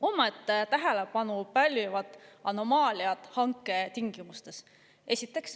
Omaette tähelepanu pälvivad anomaaliad hanketingimustes.